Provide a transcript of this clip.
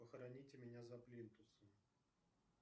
похороните меня за плинтусом